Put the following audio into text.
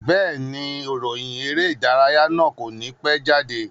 Bẹ́ẹ̀ni, ìròyìn eré ìdárayá náà kò ní pẹ́ jáde